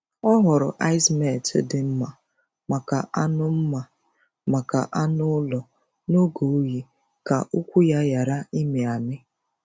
Ọ họọrọ ice melt dị mma maka anụ mma maka anụ ụlọ n’oge oyi ka ụkwụ ya ghara ịmị amị.